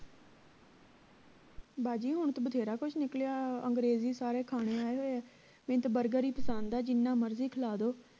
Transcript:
ਬਾਜੀ ਹੁਣ ਤੇ ਬਥੇਰਾ ਕੁਸ਼ ਨਿਕਲਿਆ ਅੰਗਰੇਜ਼ੀ ਸਾਰੇ ਖਾਣੇ ਆਏ ਹੋਏ ਹੈ ਮੈਨੂੰ ਤਾਂ ਹੀ ਪਸੰਦ ਹੈ ਜਿੰਨਾ ਮਰਜੀ ਖਿਲਾ ਦੋ